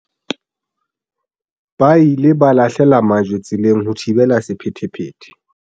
ba ile ba lahlela majwe tseleng ho thibela sephethephethe